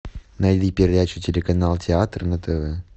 найди передачу телеканал театр на тв